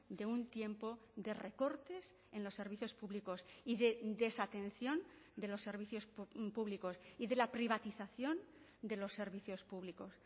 de un tiempo de recortes en los servicios públicos y desatención de los servicios públicos y de la privatización de los servicios públicos